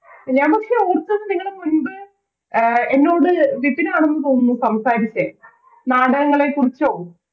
ഞാൻ പക്ഷെ ഓർത്തത് നിങ്ങടെ മുൻപ് അഹ് എന്നോട് വിപിനാണെന്ന് തോന്നുന്നു സംസാരിച്ചെ നാടകങ്ങളെ കുറിച്ചോ